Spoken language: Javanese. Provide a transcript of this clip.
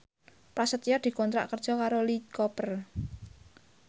Prasetyo dikontrak kerja karo Lee Cooper